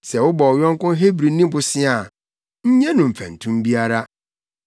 “Sɛ wobɔ wo yɔnko Hebrini bosea a, nnye ho mfɛntom biara.